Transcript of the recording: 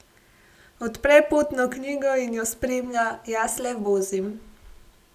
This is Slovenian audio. Odpre potno knjigo in jo spremlja, jaz le vozim.